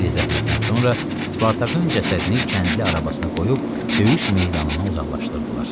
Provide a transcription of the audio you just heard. Xeyli zəhmətdən sonra Spartakın cəsədini kəndli arabasına qoyub döyüş meydanından uzaqlaşdırdılar.